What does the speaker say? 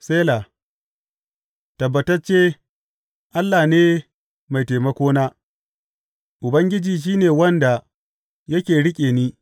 Sela Tabbatacce Allah ne mai taimakona, Ubangiji shi ne wanda yake riƙe ni.